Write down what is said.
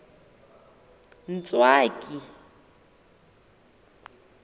ntswaki